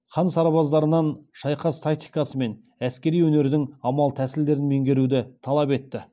хан сарбаздарынан шайқас тактикасы мен әскери өнердің амал тәсілдерін меңгеруді талап етті